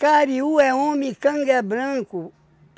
Kariu é homem e canga é branco.